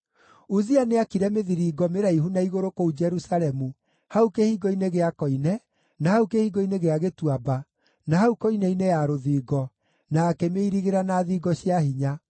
Uzia nĩaakire mĩthiringo mĩraihu na igũrũ kũu Jerusalemu hau Kĩhingo-inĩ gĩa Koine, na hau Kĩhingo-inĩ gĩa Gĩtuamba, na hau koine-inĩ ya rũthingo, na akĩmĩirigĩra na thingo cia hinya.